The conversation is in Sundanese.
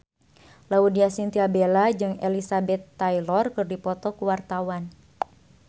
Laudya Chintya Bella jeung Elizabeth Taylor keur dipoto ku wartawan